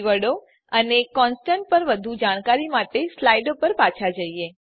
કીવર્ડો અને કોન્સટન્ટ પર વધુ જાણકારી માટે સ્લાઈડો પર પાછા જઈએ